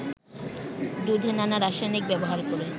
দুধে নানা রাসায়নিক ব্যবহার করে